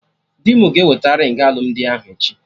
Dị mụ ga eweta ringị alụmdi ahụ echi